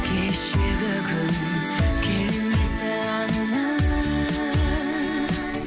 кешегі күн келмесі анық